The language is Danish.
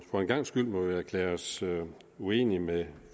for en gangs skyld må vi erklære os uenige med